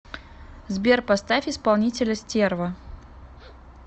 сбер поставь исполнителя стерва